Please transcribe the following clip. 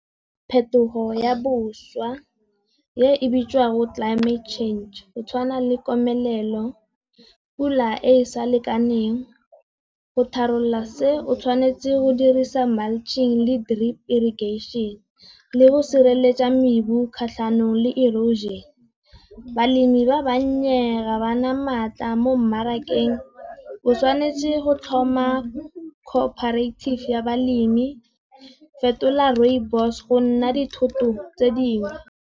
Phetogo ya bošwa e bitswang go climate change, go tshwana le komelelo, pula e sa lekaneng, go tharolola se o tshwanetse go dirisa mulching le drip irrigation, le go sireletsa mebu kgatlhanong le erosion. Balemi ba bannye ga ba na maatla mo mmarakeng, o tshwanetse go tlhoma cooperative ya balemi, fetola rooibos go nna dithoto tse dingwe.